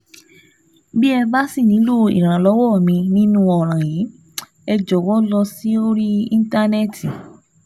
Bí ẹ bá ṣì nílò ìrànlọ́wọ́ mi nínú ọ̀ràn yìí, ẹ jọ̀wọ́ lọ sórí íntánẹ́ẹ̀tì